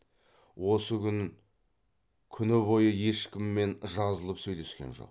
осы күн күні бойы ешкіммен жазылып сөйлескен жоқ